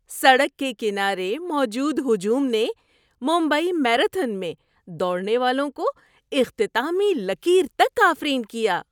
سڑک کے کنارے موجود ہجوم نے ممبئی میراتھن میں دوڑنے والوں کو اختتامی لکیر تک آفرین کیا۔